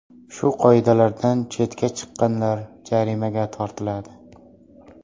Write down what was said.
Shu qoidalardan chetga chiqqanlar jarimaga tortiladi.